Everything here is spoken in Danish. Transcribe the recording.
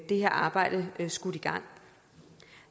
det her arbejde skudt i gang